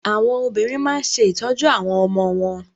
Àwọn obìnrin máa ń ṣe ìtọ́jú àwọn ọmọ wọn.